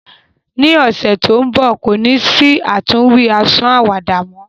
Ni ọsẹ to nbọ, ko ni si àtúnwí àwàdà mọ.